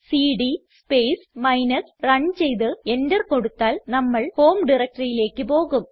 CD space minus run ചെയ്ത് enter കൊടുത്താൽ നമ്മൾ ഹോം directoryയിലേക്ക് പോകും